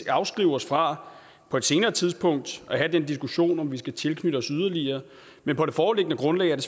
afskære os fra på et senere tidspunkt at have den diskussion om vi skal tilknytte os yderligere men på det foreliggende grundlag er det